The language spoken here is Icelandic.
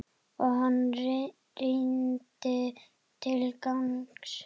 Og hann rýndi til gagns.